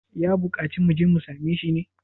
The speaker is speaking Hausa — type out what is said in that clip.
ya buƙaci mu je mu same shi ne?